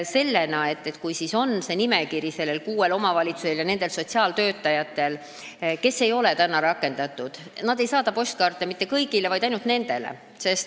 Ja kui nendel kuuel omavalitsusel ja nende sotsiaaltöötajatel on see nimekiri, millised noored ei ole praegu tööle rakendatud, siis nad ei saada postkaarte mitte kõigile, vaid ainult nendele noortele.